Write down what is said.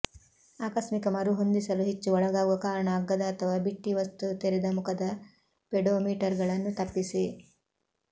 ಆಕಸ್ಮಿಕ ಮರುಹೊಂದಿಸಲು ಹೆಚ್ಚು ಒಳಗಾಗುವ ಕಾರಣ ಅಗ್ಗದ ಅಥವಾ ಬಿಟ್ಟಿ ವಸ್ತು ತೆರೆದ ಮುಖದ ಪೆಡೋಮೀಟರ್ಗಳನ್ನು ತಪ್ಪಿಸಿ